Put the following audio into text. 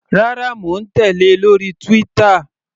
Rárá, mò ń tèlé lórí Twitter.